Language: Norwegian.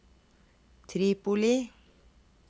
Tripoli